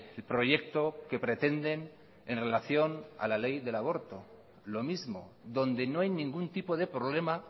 el proyecto que pretenden en relación a la ley del aborto lo mismo donde no hay ningún tipo de problema